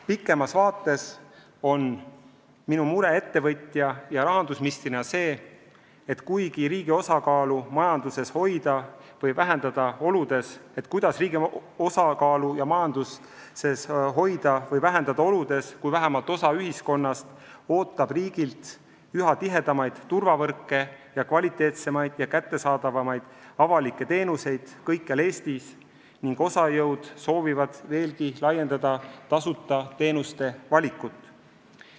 Pikemas vaates on minu mure ettevõtja ja rahandusministrina see, kuidas riigi osakaalu majanduses hoida või vähendada oludes, kui vähemalt osa ühiskonnast ootab riigilt üha tihedamaid turvavõrke ja kvaliteetsemaid ja kättesaadavamaid avalikke teenuseid kõikjal Eestis ning osa jõude soovib veelgi laiendada tasuta teenuste valikut.